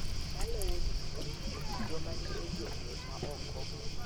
Maloyo duto, joma ni e gwenge ma oko�